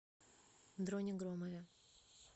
дроне громове